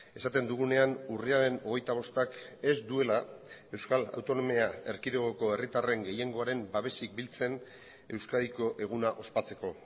esaten dugunean urriaren hogeita bostak ez duela euskal autonomia erkidegoko herritarren gehiengoaren babesik biltzen euskadiko eguna ospatzeko